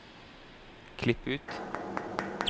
Klipp ut